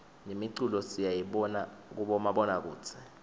nemiculo siyayibona kubomabonakudze